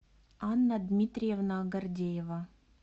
анна дмитриевна гордеева